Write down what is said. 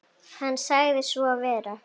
Hann sagði svo vera.